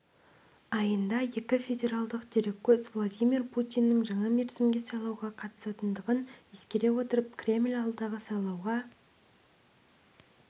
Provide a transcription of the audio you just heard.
айында екі федералдық дереккөз владимир путиннің жаңа мерзімге сайлауға қатысатындығын ескере отырып кремль алдағы сайлауға